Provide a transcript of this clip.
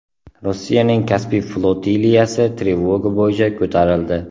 Rossiyaning Kaspiy flotiliyasi trevoga bo‘yicha ko‘tarildi.